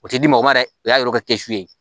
O tɛ di mɔgɔ ma dɛ o y'a yira k'a kɛ su ye